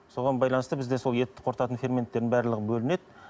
соған байланысты бізде сол ет қорытатын ферменттердің барлығы бөлінеді